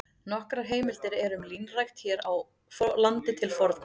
Nokkrar heimildir eru um línrækt hér á landi til forna.